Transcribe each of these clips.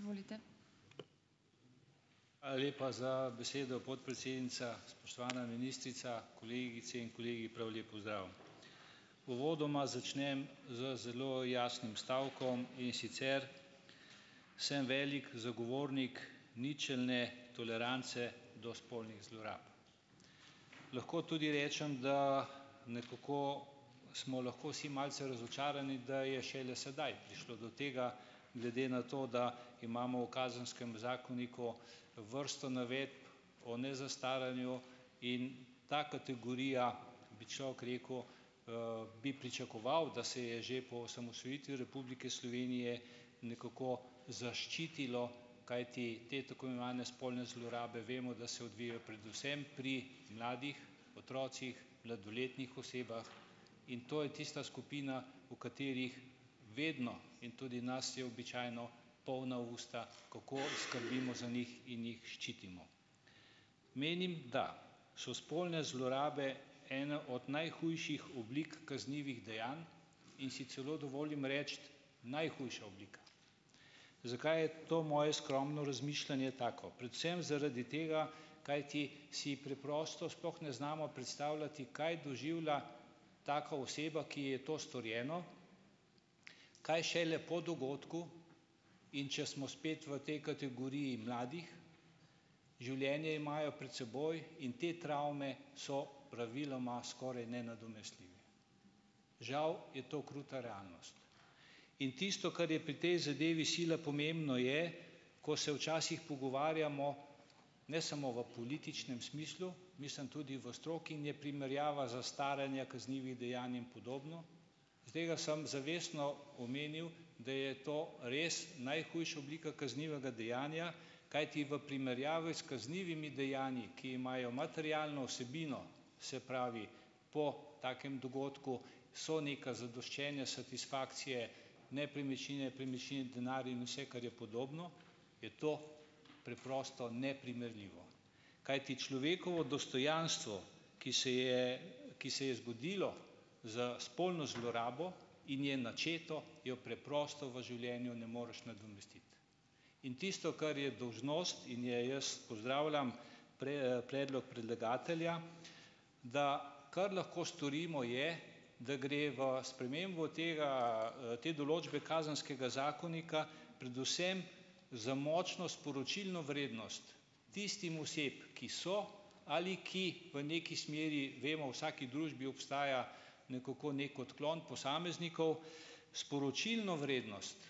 Hvala lepa za besedo, podpredsednica. Spoštovana ministrica, kolegice in kolegi, prav lep pozdrav! Uvodoma začnem z zelo jasnim stavkom, in sicer sem velik zagovornik ničelne tolerance do spolnih zlorab. Lahko tudi rečem, da nekako smo lahko vsi malce razočarani, da je šele sedaj prišlo do tega glede na to, da imamo v kazenskem zakoniku vrsto navedb o nezastaranju, in ta kategorija, bi človek rekel, bi pričakoval, da se je že po osamosvojitvi Republike Slovenije nekako zaščitilo, kajti te tako imenovane spolne zlorabe vemo, da se odvijajo predvsem pri mladih, otrocih, mladoletnih osebah, in to je tista skupina, o katerih vedno in tudi nas je običajno polna usta, kako skrbimo za njih in jih ščitimo. Menim, da so spolne zlorabe ena od najhujših oblik kaznivih dejanj in si celo dovolim reči najhujša oblika. Zakaj to moje skromno razmišljanje tako? Predvsem zaradi tega, kajti si preprosto sploh ne znamo predstavljati, kaj doživlja taka oseba, ki ji je to storjeno, kaj šele po dogodku. In če smo spet v tej kategoriji mladih. Življenje imajo pred seboj in te travme so praviloma skoraj nenadomestljive. Žal je to kruta realnost. In tisto, kar je pri tej zadevi sila pomembno, je, ko se včasih pogovarjamo - ne samo v političnem smislu, mislim tudi v stroki in je primerjava zastaranja kaznivih dejanj in podobno. Zaradi tega sem zavestno omenil, da je to res najhujša oblika kaznivega dejanja, kajti v primerjavi s kaznivimi dejanji, ki imajo materialno vsebino - se pravi, po takem dogodku so neka zadoščenja, satisfakcije, nepremičnine, premičnine, denar in vse, kar je podobno, je to preprosto neprimerljivo. Kajti človekovo dostojanstvo, ki se je, ki se je zgodilo z spolno zlorabo in je načeto, jo preprosto v življenju ne moreš nadomestiti. In tisto, kar je dolžnost, in je jaz pozdravljam, predlog predlagatelja, da, kar lahko storimo, je, da gre v spremembo tega, te določbe kazenskega zakonika predvsem za močno sporočilno vrednost tistim osebam, ki so ali ki v nekaj smeri, vemo, v vsaki družbi obstaja, nekako, neki odklon posameznikov, sporočilno vrednost,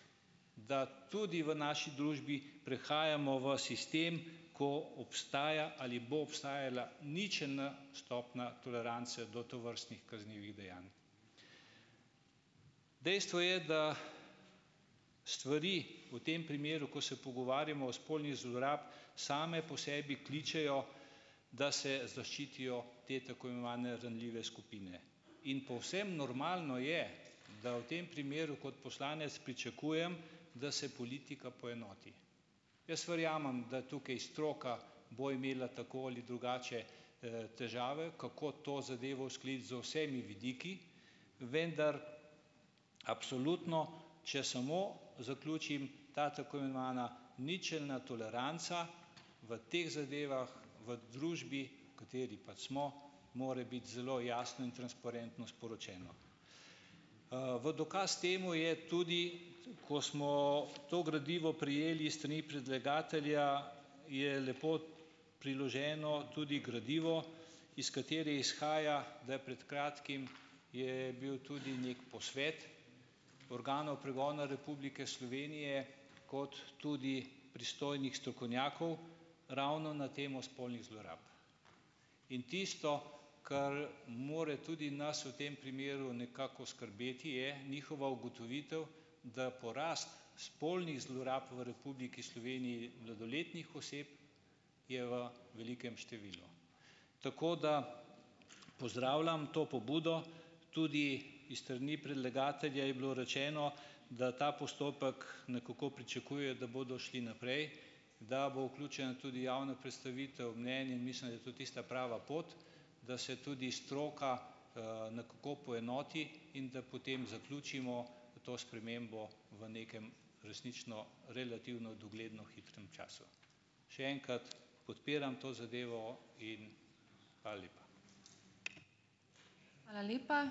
da tudi v naši družbi prehajamo v sistem, ko obstaja ali bo obstajala ničelna stopna tolerance do tovrstnih kaznivih dejanj. Dejstvo je, da stvari, v tem primeru, ko se pogovarjamo od spolnih zlorab, same po sebi kličejo, da se zaščitijo te, tako imenovane, ranljive skupine, in povsem normalno je, da v tem primeru kot poslanec pričakujem, da se politika poenoti. Jaz verjamem, da tukaj stroka bo imela tako ali drugače, težave, kako to zadevo uskladiti z vsemi vidiki, vendar, absolutno, če samo zaključim, ta tako imenovana ničelna toleranca v teh zadevah, v družbi, v kateri pač smo, mora biti zelo jasno in transparentno sporočena. V dokaz temu je tudi, ko smo to gradivo prejeli s strani predlagatelja, je lepo priloženo tudi gradivo, iz katerega izhaja, da je pred kratkim, je bil tudi neki posvet organov pregona Republike Slovenije kot tudi pristojnih strokovnjakov ravno na temo spolnih zlorab in tisto, kar mora tudi nas v tem primeru nekako skrbeti, je njihova ugotovitev, da porast spolnih zlorab v Republiki Sloveniji mladoletnih oseb je v velikem številu. Tako da pozdravljam to pobudo. Tudi iz strani predlagatelja je bilo rečeno, da ta postopek nekako pričakujejo, da bodo šli naprej, da bo vključena tudi javna predstavitev mnenj, in mislim, da je to tista prava pot, da se tudi stroka, nekako poenoti in da potem zaključimo to spremembo v nekem resnično relativno dogledno hitrem času. Še enkrat, podpiram to zadevo in hvala lepa.